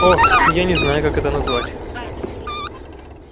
о я не знаю как это назвать